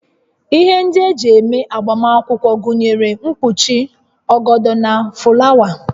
Ihe ndị eji eme agbamakwụkwọ gụnyere mkpuchi, ọgọdọ na fụlawa